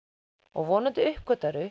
og vonandi